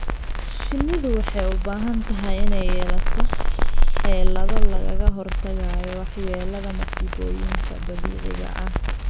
Shinnidu waxay u baahan tahay inay yeelato xeelado lagaga hortagayo waxyeelada masiibooyinka dabiiciga ah.